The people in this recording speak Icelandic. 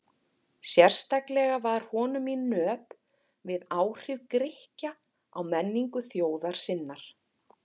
Sérstaklega var honum í nöp við áhrif Grikkja á menningu þjóðar sinnar.